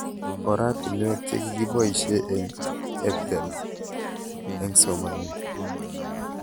Oratinwek che kikipoishe eng' EdTech eng' somanet